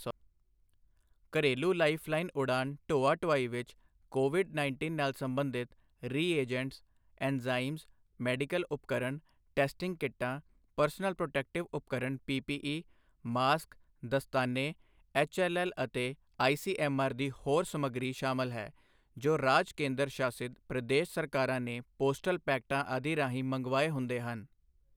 ਘਰੇਲੂ ਲਾਈਫਲਾਈਨ ਉਡਾਨ ਢੋਆ ਢੁਆਈ ਵਿੱਚ ਕੋਵਿਡ ਉੱਨੀ ਨਾਲ ਸਬੰਧਿਤ ਰੀਏਜੰਟਸ, ਐਂਜ਼ਾਇਮਸ, ਮੈਡੀਕਲ ਉਪਕਰਣ, ਟੈਸਟਿੰਗ ਕਿੱਟਾਂ, ਪਰਸਨਲ ਪ੍ਰੋਟੈਕਟਿਵ ਉਪਕਰਣ ਪੀਪੀਈ, ਮਾਸਕ, ਦਸਤਾਨੇ, ਐੱਚਐੱਲਐੱਲ ਅਤੇ ਆਈਸੀਐੱਮਆਰ ਦੀ ਹੋਰ ਸਮੱਗਰੀ ਸ਼ਾਮਲ ਹੈ, ਜੋ ਰਾਜ ਕੇਂਦਰ ਸ਼ਾਸਿਤ ਪ੍ਰਦੇਸ਼ ਸਰਕਾਰਾਂ ਨੇ ਪੋਸਟਲ ਪੈਕਟਾਂ ਆਦਿ ਰਾਹੀਂ ਮੰਗਵਾਏ ਹੁੰਦੇ ਹਨ।